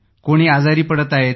कोणी आजारी पडत आहेत